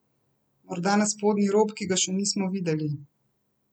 Morda na spodnji rob, ki ga še nismo videli?